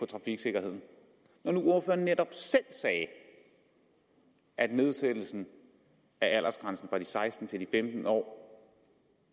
trafiksikkerheden når nu ordføreren netop selv sagde at nedsættelsen af aldersgrænsen fra de seksten til de femten år